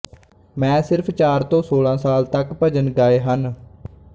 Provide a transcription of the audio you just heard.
ਮੈਂ ਸਿਰਫ਼ ਚਾਰ ਤੋਂ ਸੋਲ੍ਹਾਂ ਸਾਲਾਂ ਤੱਕ ਭਜਨ ਗਾਏ ਹਨ